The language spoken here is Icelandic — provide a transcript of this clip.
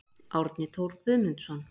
Árni Thor Guðmundsson